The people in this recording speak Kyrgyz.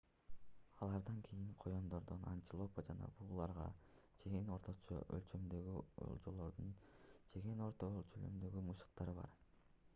алардан кийин коёндордон антилопа жана бугуларга чейин орточо өлчөмдөгү олжолорду жеген орто өлчөмдөгү мышыктар бар